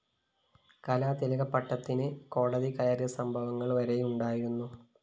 കലാതിലക പട്ടത്തിന് കോടതി കയറിയ സംഭവങ്ങള്‍ വരെയുണ്ടായിരുന്നു